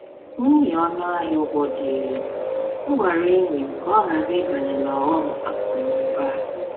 N’ihi ọnụ ahịa ụgwọ dị elu, m gwara enyi m ka ọ ghara ịbanye n’ọghọm akụ na ụba a.